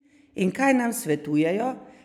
In kaj nam svetujejo?